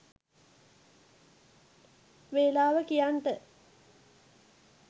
වෙලාව කියන්ට